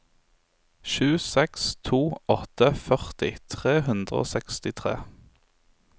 sju seks to åtte førti tre hundre og sekstitre